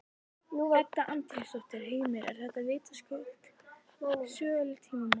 Edda Andrésdóttir: Heimir, þetta eru vitaskuld söguleg tímamót?